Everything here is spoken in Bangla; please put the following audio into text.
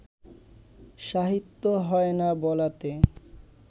সাহিত্য হয় না বলাতে